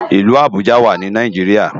Ilù Abuja wá ni Náijiriá